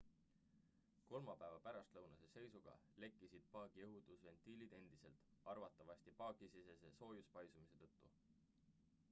kolmapäeva pärastlõunase seisuga lekkisid paagi õhutusventiilid endiselt arvatavasti paagisisese soojuspaisumise tõttu